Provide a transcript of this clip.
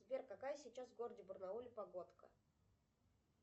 сбер какая сейчас в городе барнауле погодка